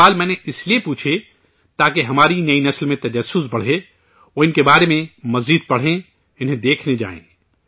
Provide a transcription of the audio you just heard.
یہ سوال میں نے اس لیے پوچھے تاکہ ہماری نئی نسل میں تجسس بڑھے، وہ ان کے بارے میں مزید پڑھیں، انہیں دیکھنے جائیں